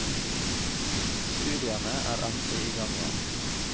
Studiene er endelig i gang igjen.